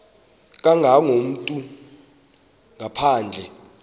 kangako umntu ngaphandle